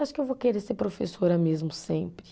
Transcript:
Acho que eu vou querer ser professora mesmo, sempre.